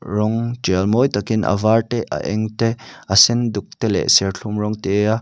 rawng tial mawi tak in a var te a eng te a senduk te leh serthlum rawng te a--